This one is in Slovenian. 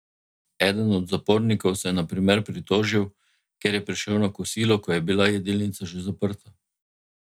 Eden od zapornikov se je na primer pritožil, ker je prišel na kosilo, ko je bila jedilnica že zaprta.